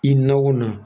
I na o na